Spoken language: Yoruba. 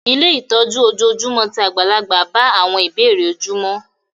Ilé ìtọ́jú ojoojúmọ́ ti àgbàlagbà bá àwọn ìbéèrè ojúmọ́